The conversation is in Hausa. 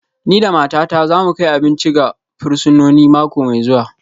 Ni da matata za mu kai abinci ga fursunoni mako mai zuwa